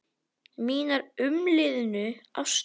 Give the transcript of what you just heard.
Mínar umliðnu ástir.